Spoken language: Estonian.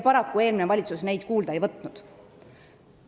Eelmine valitsus neid paraku kuulda ei võtnud.